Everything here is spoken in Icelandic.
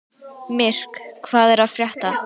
Myrk, hvað er að frétta?